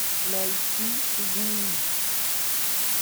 найти змий